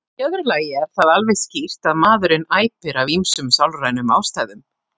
Í öðru lagi er það alveg skýrt að maðurinn æpir af ýmsum sálrænum ástæðum.